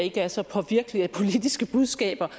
ikke er så påvirkeligt for politiske budskaber